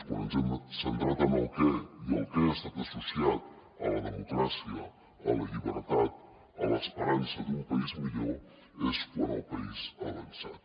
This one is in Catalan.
quan ens hem centrat en el què i el què ha estat associat a la democràcia a la llibertat a l’esperança d’un país millor és quan el país ha avançat